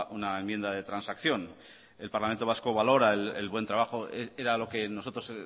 una enmienda de transacción el parlamento vasco valora el buen trabajo era lo que nosotros